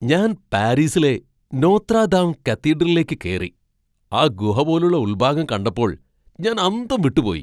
ഞാൻ പാരീസിലെ Notre Dame കത്തീഡ്രലിലേക്ക് കേറി, ആ ഗുഹ പോലുള്ള ഉൾഭാഗം കണ്ടപ്പോൾ ഞാൻ അന്തം വിട്ടു പോയി.